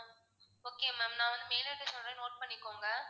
okay ma'am நான் வந்து mail ID சொல்றேன் note பண்ணிக்கோங்க.